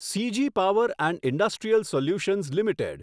CG power and industrial solutions limited